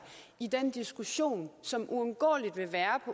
i den diskussion som uundgåeligt vil være